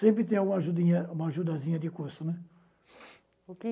Sempre tem uma ajudinha ajudazinha de custo, né? O que